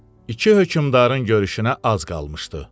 İki hökmdarın görüşünə az qalmışdı.